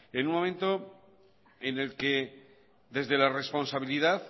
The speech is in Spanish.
en un momento en el que desde la responsabilidad